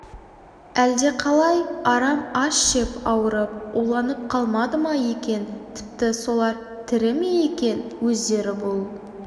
әлдеқалай арам ас жеп ауырып уланып қалмады ма екен тіпті солар тірі ме екен өздері бұл